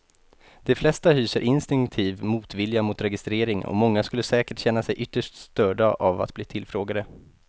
De flesta hyser instinktiv motvilja mot registrering och många skulle säkert känna sig ytterst störda av att bli tillfrågade.